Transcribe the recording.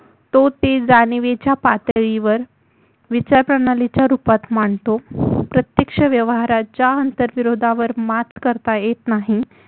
तो ती जाणीवीच्या पातळीवर विचारप्रणालीच्या रुपात मांडतो प्रत्यक्ष व्यवहाराच्या आंतरविरोधावर मात करता येत नाही